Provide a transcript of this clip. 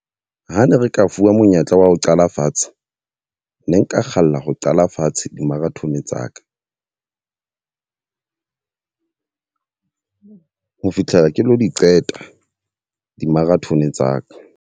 Ha ne re ka fuwa monyetla wa ho qala fatshe. Ne nka kgalla ho qala fatshe di-marathon tsa ka ho fitlhela ke lo di qeta di-marathon tsa ka.